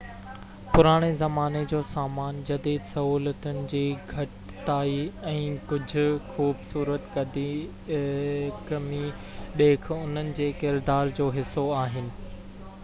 پراڻي زماني جو سامان جديد سهولتن جي گهٽتائي ۽ ڪجہہ خوبصورت قديقمي ڏيک انهن جي ڪردار جو حصو آهن